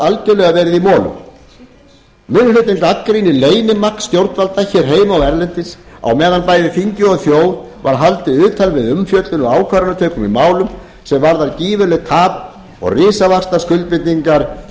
algerlega verið í molum minni hlutinn gagnrýnir leynimakk stjórnvalda heima og erlendis á meðan bæði þingi og þjóð var haldið utan við umfjöllun og ákvarðanatöku í málum sem varðar gífurlegt tap og risavaxnar skuldbindingar